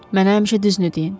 Mənə həmişə düzünü deyin.